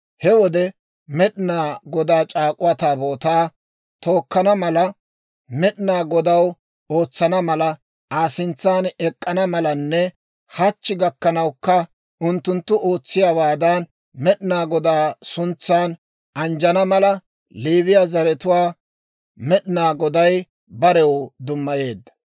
He wode, Med'inaa Godaa C'aak'uwaa Taabootaa tookkana mala, Med'inaa Godaw ootsana mala, Aa sintsan ek'k'ana malanne, hachchi gakkanawukka unttunttu ootsiyaawaadan Med'inaa Godaa suntsan anjjana mala, Leewiyaa zaratuwaa Med'inaa Goday barew dummayeedda.